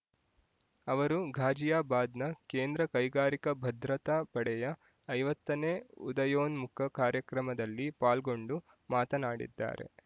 ಅವರು ಘಾಜಿಯಾಬಾದ್‌ನ ಕೇಂದ್ರ ಕೈಗಾರಿಕಾ ಭದ್ರತಾ ಪಡೆಯ ಐವತ್ತನೇ ಉದಯೋನ್ಮುಖ ಕಾರ್ಯಕ್ರಮದಲ್ಲಿ ಪಾಲ್ಗೊಂಡು ಮಾತನಾಡಿದ್ದಾರೆ